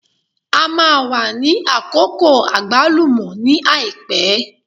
A máa wà ní Àkókò àgbálù ní àìpẹ́.